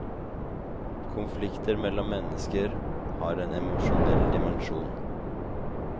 Konflikter mellom mennesker har en emosjonell dimensjon.